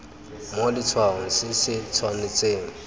mo letshwaong se se tshwanetseng